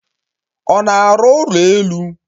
Ọ na-arụ ụlọ elu?